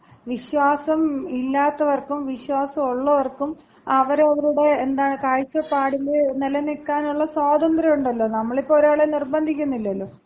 വിശ്വാസം ഇല്ലാത്തവർക്കും വിശ്വാസൊള്ളവർക്കും അവരവരുടെ, എന്താണ് കാഴ്ചപ്പാടിൽ നിലനിൽക്കാനുള്ള സ്വാതന്ത്ര്യം ഉണ്ടല്ലോ. നമ്മളിപ്പോ ഒരാളെ നിർബന്ധിക്കുന്നില്ലല്ലോ.